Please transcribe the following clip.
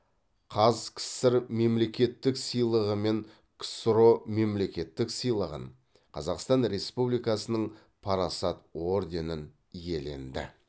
қаз кср мемлекеттік сыйлығы мен ксро мемлекеттік сыйлығын қазақстан республикасының парасат орденін иеленді